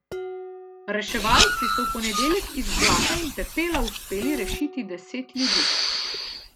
Reševalci so v ponedeljek iz blata in pepela uspeli rešiti deset ljudi.